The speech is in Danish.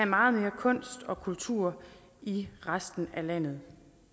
meget mere kunst og kultur i resten af landet